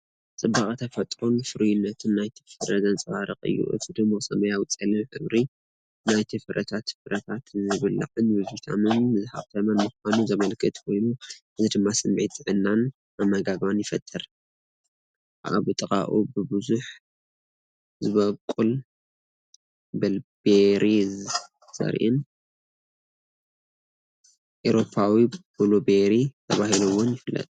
ንጽባቐ ተፈጥሮን ፍሩይነት ናይቲ ፍረን ዘንጸባርቕ እዩ። እቲ ድሙቕ ሰማያዊ-ጸሊም ሕብሪ ናይቲ ፍረታት ፍረታት ዝብላዕን ብቪታሚናት ዝሃብተመን ምዃኑ ዘመልክት ኮይኑ፡ እዚ ድማ ስምዒት ጥዕናን ኣመጋግባን ይፈጥር። ኣብ ጥቓኡ ብብዝሒ ዝበቁል ቢልቤሪ ዘርኢን፣ "ኤውሮጳዊ ብሉቤሪ" ተባሂሎም'ውን ይፍለጡ።